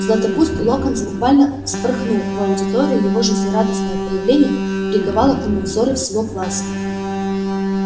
златопуст локонс буквально вспорхнул в аудиторию его жизнерадостное появление приковало к нему взоры всего класса